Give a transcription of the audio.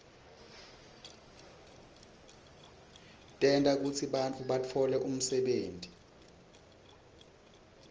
tenta kutsi bantfu batfole umsebenti